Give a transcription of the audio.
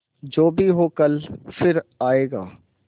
जो भी हो कल फिर आएगा